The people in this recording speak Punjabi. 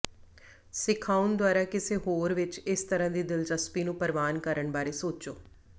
ਸਿਖਾਉਣ ਦੁਆਰਾ ਕਿਸੇ ਹੋਰ ਵਿੱਚ ਇਸ ਤਰ੍ਹਾਂ ਦੀ ਦਿਲਚਸਪੀ ਨੂੰ ਪ੍ਰਵਾਨ ਕਰਨ ਬਾਰੇ ਸੋਚੋ